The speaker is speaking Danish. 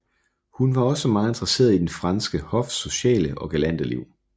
Hun var også meget interesseret i den franske hofs sociale og galante liv